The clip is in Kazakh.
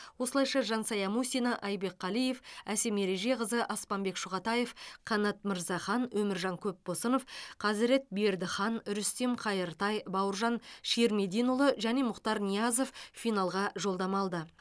осылайша жансая мусина айбек қалиев әсем ережеқызы аспанбек шұғатаев қанат мырзахан өміржан көпбосынов қазірет бердіхан рүстем қайыртай бауыржан ширмединұлы және мұхтар ниязов финалға жолдама алды